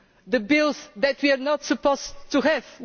the bills that we are not supposed to have.